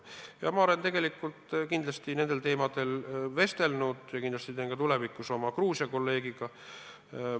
Ja ma olen tegelikult nendel teemadel oma Gruusia kolleegiga vestelnud ja kindlasti teen seda ka tulevikus.